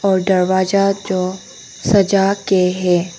और दरवाजा जो सजा के है।